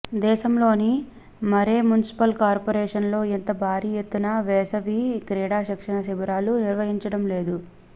దేశంలోని మరే మున్సిపల్ కార్పోరేషన్లో ఇంత భారీ ఎత్తున వేసవి క్రీడా శిక్షణ శిబిరాలను నిర్వహించడం లేదు